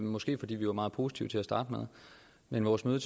måske fordi vi var meget positive til at starte med men vores møde